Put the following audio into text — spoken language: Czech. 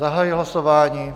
Zahajuji hlasování.